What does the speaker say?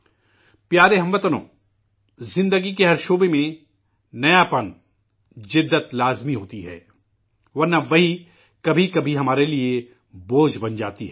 عزیرہم وطنو، زندگی کے ہر شعبے میں نیاپن ، جدت ضروری ہوتی ہے، ورنہ، وہی، کبھی کبھی، ہمارے لیے بوجھ بن جاتی ہے